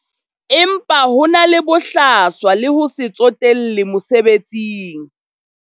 Empa ho na le bohlaswa le ho se tsotelle mosebetsing.